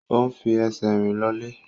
O n fi ẹsẹ̀ rìn lọ ilé.